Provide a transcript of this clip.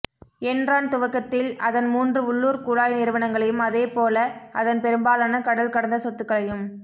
Enron துவக்கத்தில் அதன் மூன்று உள்ளூர் குழாய் நிறுவனங்களையும் அதேப் போல அதன் பெரும்பாலான கடல் கடந்த சொத்துக்களையும்